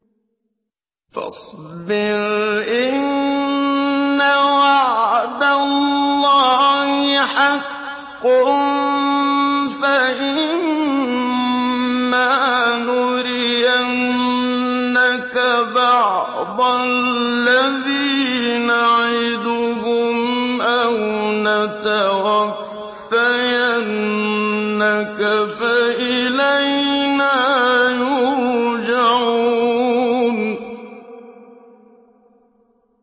فَاصْبِرْ إِنَّ وَعْدَ اللَّهِ حَقٌّ ۚ فَإِمَّا نُرِيَنَّكَ بَعْضَ الَّذِي نَعِدُهُمْ أَوْ نَتَوَفَّيَنَّكَ فَإِلَيْنَا يُرْجَعُونَ